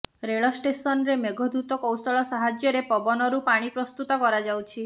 ରେଳ ଷ୍ଟେସନରେ ମେଘଦୂତ କୌଶଳ ସାହାଯ୍ୟରେ ପବନରୁ ପାଣି ପ୍ରସ୍ତୁତ କରାଯାଉଛି